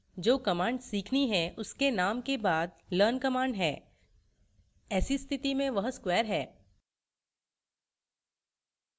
जो command सीखनी है उसके name के बाद learn command है ऐसी स्थिति में वह square है